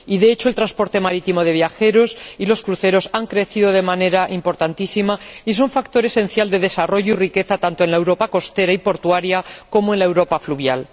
De hecho, el transporte marítimo de viajeros y los cruceros han crecido de manera importantísima y son un factor esencial de desarrollo y riqueza tanto en la Europa costera y portuaria como en la Europa fluvial.